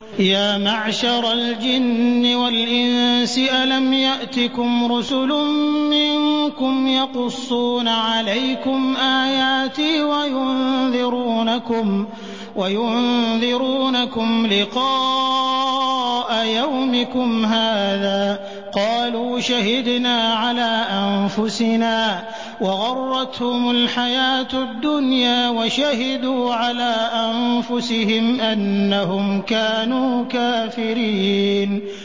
يَا مَعْشَرَ الْجِنِّ وَالْإِنسِ أَلَمْ يَأْتِكُمْ رُسُلٌ مِّنكُمْ يَقُصُّونَ عَلَيْكُمْ آيَاتِي وَيُنذِرُونَكُمْ لِقَاءَ يَوْمِكُمْ هَٰذَا ۚ قَالُوا شَهِدْنَا عَلَىٰ أَنفُسِنَا ۖ وَغَرَّتْهُمُ الْحَيَاةُ الدُّنْيَا وَشَهِدُوا عَلَىٰ أَنفُسِهِمْ أَنَّهُمْ كَانُوا كَافِرِينَ